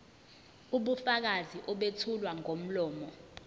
ubufakazi obethulwa ngomlomo